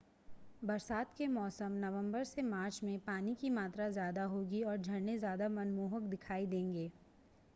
बरसात के मौसम नवंबर से मार्च में पानी की मात्रा ज़्यादा होगी और झरने ज़्यादा मनमोहक दिखाई देंगे